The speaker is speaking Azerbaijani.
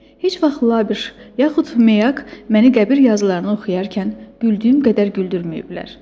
Heç vaxt Labiş, yaxud Məyak məni qəbir yazılarını oxuyarkən güldüyüm qədər güldürməyiblər.